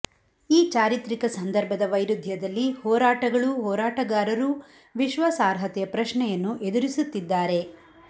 ಈ ಚಾರಿತ್ರಿಕ ಸಂದರ್ಭದ ವೈರುಧ್ಯದಲ್ಲಿ ಹೋರಾಟಗಳೂ ಹೋರಾಟಗಾರರೂ ವಿಶ್ವಾಸಾರ್ಹತೆಯ ಪ್ರಶ್ನೆಯನ್ನು ಎದುರಿಸುತ್ತಿದ್ದಾರೆ